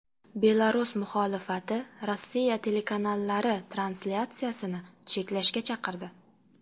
Belarus muxolifati Rossiya telekanallari translyatsiyasini cheklashga chaqirdi.